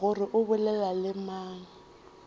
gore o bolela le mang